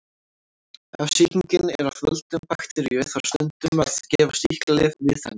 Ef sýkingin er af völdum bakteríu þarf stundum að gefa sýklalyf við henni.